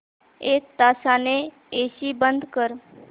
एक तासाने एसी बंद कर